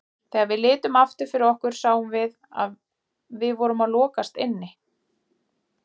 Þegar við litum aftur fyrir okkur sáum við að við vorum að lokast inni.